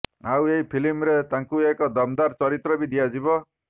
ଆଉ ଏହି ଫିଲ୍ମରେ ତାଙ୍କୁ ଏକ ଦମ୍ଦାର୍ ଚରିତ୍ର ବି ଦିଆଯିବ